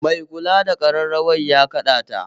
Mai kula da ƙararrawa ya kaɗa ta